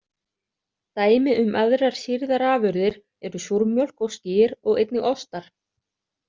Dæmi um aðrar sýrðar afurðir eru súrmjólk og skyr og einnig ostar.